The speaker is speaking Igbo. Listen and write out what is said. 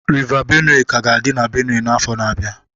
River Benue ka ga-adị na Benue n'afọ na-abịa